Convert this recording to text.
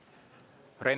Aitäh!